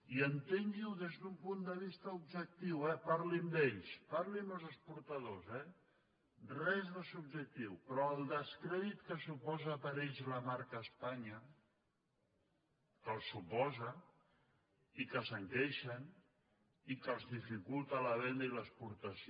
i entengui ho des d’un punt de vista objectiu eh parli amb ells parli amb els exportadors res de subjectiu però el descrèdit que suposa per a ells la marca espanya que el suposa i que se’n queixen i que els dificulta la venda i l’exportació